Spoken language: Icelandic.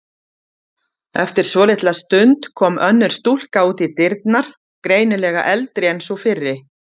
Eftir svolitla stund kom önnur stúlka út í dyrnar, greinilega eldri en sú fyrri.